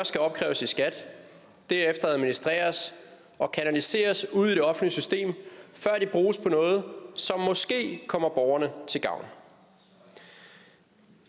skal opkræves i skat derefter administreres og kanaliseres ud i det offentlige system før de bruges på noget som måske kommer borgerne til gavn